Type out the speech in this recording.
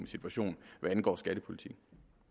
situation hvad angår skattepolitikken